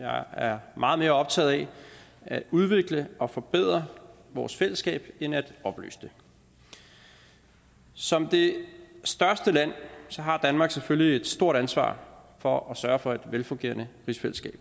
jeg er meget mere optaget af at udvikle og forbedre vores fællesskab end af at opløse det som det største land har danmark selvfølgelig et stort ansvar for at sørge for et velfungerende rigsfællesskab